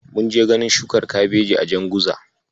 Mun je ganin shukar Kabeji a Janguza.